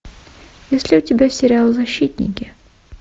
есть ли у тебя сериал защитники